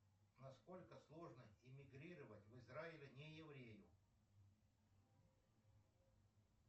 на сколько сложно иммигрировать в израиль не еврею